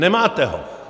Nemáte ho!